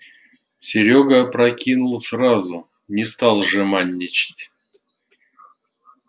серёга опрокинул сразу не стал жеманничать